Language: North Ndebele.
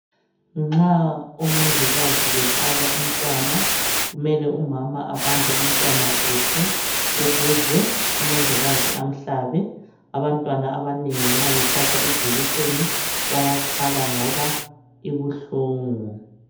Nxa omongikazi behlaba umntwana. Kumele umama abambe umntwana kuhle ,ukuze umongikazi amhlabe . Abantwana abanengi nxa behlatshwa ijekiseni bayakhala ngoba ibuhlungu.